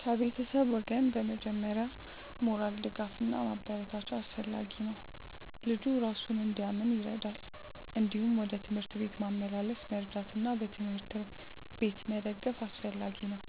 ከቤተሰብ ወገን በመጀመሪያ ሞራል ድጋፍ እና ማበረታቻ አስፈላጊ ነው፣ ልጁ እራሱን እንዲያምን ይረዳል። እንዲሁም ወደ ትምህርት ቤት ማመላለስ መርዳት እና በትምህርት ላይ በቤት መደገፍ አስፈላጊ ነው።